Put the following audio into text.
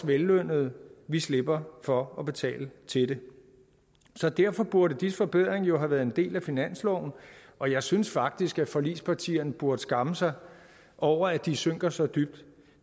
vellønnede slipper for at betale til det så derfor burde disse forbedringer jo have været en del af finansloven og jeg synes faktisk at forligspartierne burde skamme sig over at de synker så dybt